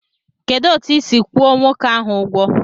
Kedụ etu isi kwụọ nwoke ahụ ụgwọ?